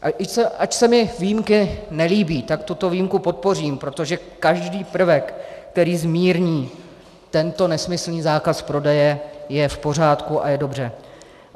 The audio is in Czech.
Ač se mi výjimky nelíbí, tak tuto výjimku podpořím, protože každý prvek, který zmírní tento nesmyslný zákaz prodeje, je v pořádku a je dobře.